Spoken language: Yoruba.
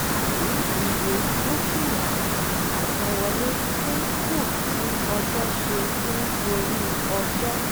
tàbí iye dúkìá àsanwọlé dín kù bí ọjọ́ ṣe ń gorí ọjọ́